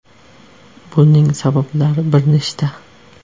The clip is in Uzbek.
Buning sabablari bir nechta.